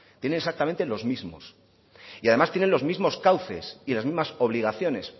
tiene exactamente los mismos y además tienen los mismos cauces y las mismas obligaciones